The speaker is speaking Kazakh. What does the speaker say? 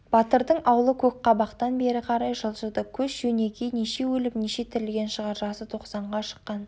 батырдың аулы көкқабақтан бері қарай жылжыды көш жөнекей неше өліп неше тірілген шығар жасы тоқсанға шыққан